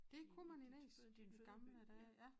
Dét kunne man Næs i gamle dage ja